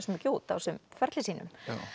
mikið út á þessum ferli sínum